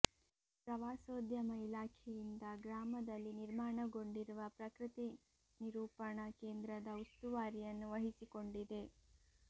ಪ್ರವಾಸೋದ್ಯಮ ಇಲಾಖೆಯಿಂದ ಗ್ರಾಮದಲ್ಲಿ ನಿರ್ಮಾಣಗೊಂಡಿರುವ ಪ್ರಕೃತಿ ನಿರೂಪಣಾ ಕೇಂದ್ರದ ಉಸ್ತುವಾರಿಯನ್ನು ವಹಿಸಿಕೊಂಡಿದೆ